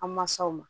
An mansaw ma